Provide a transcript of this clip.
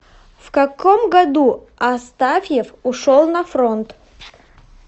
в каком году астафьев ушел на фронт